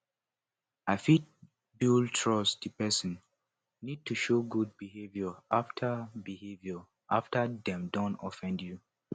to fit build trust di person need to show good behaviour after behaviour after dem don offend you